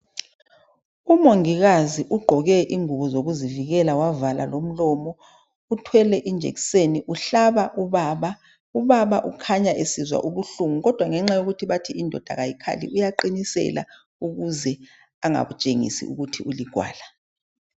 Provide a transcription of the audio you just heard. Umongikazi ugqoke ingubo zokuzivikela wavala lomlomo uthwele injekiseni uhlaba ubaba, ubaba ukhanya esizwa ubuhlungu kodwa ngenxa yokuthi indoda ayikhali uyaqinisela ukuze angatshengisi ukuthi uligwala.